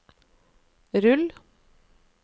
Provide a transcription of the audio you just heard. rull